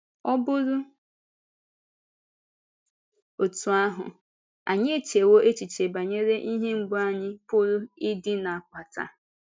Ọ̀ bụrụ otú ahụ, ànyị echewo echiche banyere ihe mgbu anyị pụrụ ịdị na-akpata?